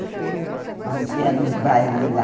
A gente ia nos bares lá.